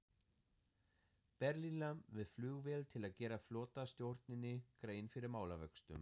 Berlínar með flugvél til að gera flotastjórninni grein fyrir málavöxtum.